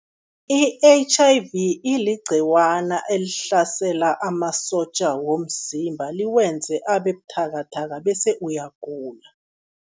I-H_I_V iligcikwana elihlasela amasotja womzimba, liwenze abe buthakathaka bese uyagula.